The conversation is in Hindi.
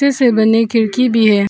से बनी खिड़की भी है।